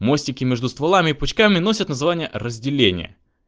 мостики между стволами и пучками носят название разделение